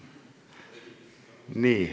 Nii.